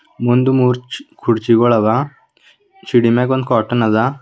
ಒಂದು ಮುರ್ಚ್ ಕುರ್ಚಿಗಳದ ಚಿಡಿಮೆಗೊಂದು ಕಾಟಾನ ದ.